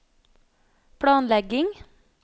planlegging